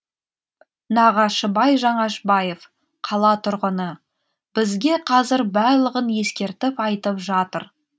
нағашыбай жаңашбаев қала тұрғыны бізге қазір барлығын ескертіп айтып жатыр